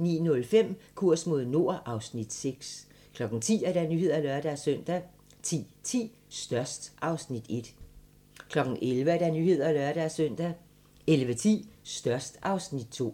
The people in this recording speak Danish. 09:05: Kurs mod nord (Afs. 6) 10:00: Nyhederne (lør-søn) 10:10: Størst (Afs. 1) 11:00: Nyhederne (lør-søn) 11:10: Størst (Afs. 2)